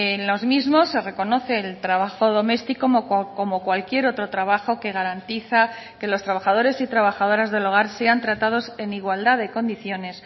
en los mismos se reconoce el trabajo doméstico como cualquier otro trabajo que garantiza que los trabajadores y trabajadoras del hogar sean tratados en igualdad de condiciones